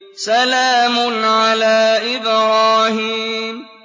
سَلَامٌ عَلَىٰ إِبْرَاهِيمَ